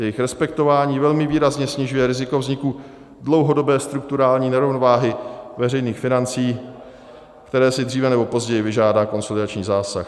Jejich respektování velmi výrazně snižuje riziko vzniku dlouhodobé strukturální nerovnováhy veřejných financí, které si dříve nebo později vyžádá konsolidační zásah.